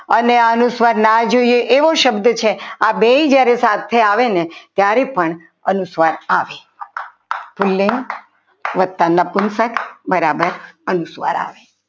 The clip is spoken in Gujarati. અને અનુસ્વાર ના જોઈએ એવો શબ્દ છે આ બે જ્યારે સાથે આવે ને ત્યારે પણ અનુસ્વાર આવે સ્ત્રીલિંગ વધતા નપુંચક બરાબર અનુસ્વાર આવે.